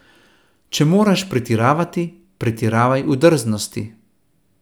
Če moraš pretiravati, pretiravaj v drznosti.